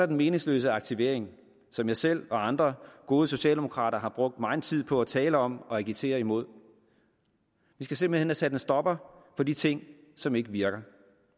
den meningsløse aktivering som jeg selv og andre gode socialdemokrater har brugt megen tid på at tale om og agitere imod vi skal simpelt hen have sat en stopper for de ting som ikke virker